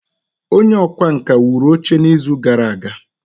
Onye ọkwá nkà wuru oche n'izu gara aga?